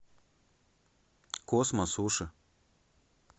космо суши